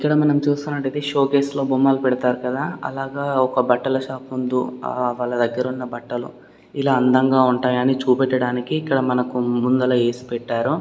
ఇక్కడ మనం చూస్తున్నట్లయితే షోకేస్ లో బొమ్మలు పెడతారు కదా అలాగా బట్టల షాప్ ముందు ఆ వాళ్ళ దగ్గర ఉన్న బట్టలు ఇలా అందంగా ఉన్నాయని చూపెట్టడానికి మనకి ముందల ఏసి పెట్టారు.